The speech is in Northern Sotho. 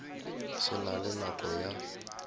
se na le nako ya